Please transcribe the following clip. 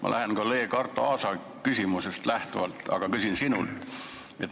Ma lähtun kolleeg Arto Aasa küsimusest, aga küsin sinult.